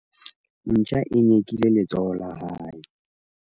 ntja e nyekile letsoho la hae